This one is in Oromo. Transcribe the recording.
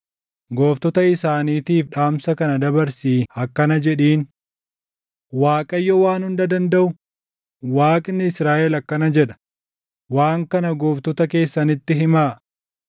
Gooftota isaaniitiif dhaamsa kana dabarsii akkana jedhiin; ‘ Waaqayyo Waan Hunda Dandaʼu, Waaqni Israaʼel akkana jedha; “Waan kana gooftota keessanitti himaa.